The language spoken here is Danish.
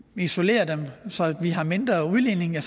isolerer dem så vi har mindre udledning og